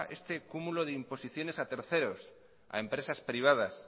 este cúmulo de imposiciones a terceros a empresas privadas